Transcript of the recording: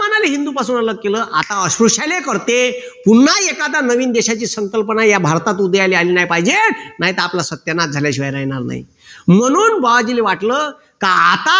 मुसलमानांना हिंदूंपासून अलग केलं आता अस्पृश्याले करते पुन्हा एखादा नवीन देशाची संकल्पना या भारतात उदयाला आली नाही पाहिजे नाही तर आपला सत्यानाश झाल्याशिवाय राहणार नाही म्हणून बुआजिले वाटलं का आता